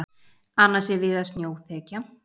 Annars er víða snjóþekja